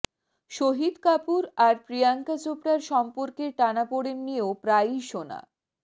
শহীদ কাপুর আর প্রিয়াঙ্কা চোপড়ার সম্পর্কের টানাপোড়েন নিয়েও প্রায়ই শোনা